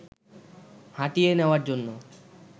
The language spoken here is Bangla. হাঁটিয়ে নেওয়ার জন্য